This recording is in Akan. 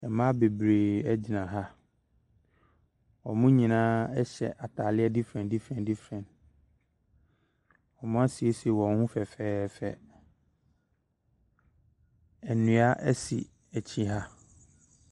Mmaa bebree ɛgyina ha. Ɔmo nyinaa hyɛ ataaleɛ difrɛn difrɛn. Ɔmo asiesie ɔmo ho fɛfɛɛfɛ. Ɛnua ɛsi akyi ha.